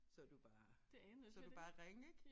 Så du bare så du bare ringe ik